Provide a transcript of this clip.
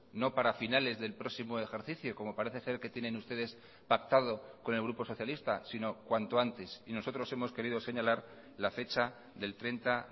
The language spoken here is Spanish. no para finales del próximo ejercicio como parece ser que tienen ustedes pactado con el grupo socialista sino cuanto antes y nosotros hemos querido señalar la fecha del treinta